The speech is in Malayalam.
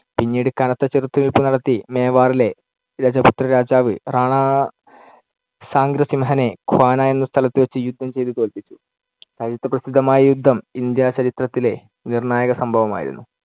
പിന്നീട് കനത്ത ചെറുത്തുനില്പു നടത്തി മേവാറിലെ രജപുത്രരാജാവ്, റാണ സാഗ്രസിംഹനെ ഖ്വാന എന്ന സ്ഥലത്തു വച്ച് യുദ്ധം ചെയ്ത് തോൽപ്പിച്ചു. ചരിത്രപ്രസിദ്ധമായ ഈ യുദ്ധം ഇന്ത്യാചരിത്രത്തിലെ നിർണ്ണായകസംഭവമായിരുന്നു.